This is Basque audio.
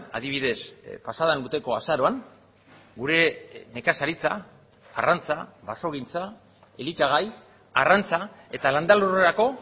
adibidez pasaden urteko azaroan gure nekazaritza arrantza basogintza elikagai arrantza eta landa lurrerako